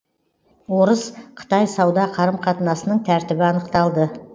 орыс қытай сауда қарым қатынасының тәртібі анықталды